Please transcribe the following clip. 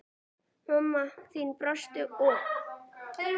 Mamma þín brosti og þambaði úr glasinu í einum teyg.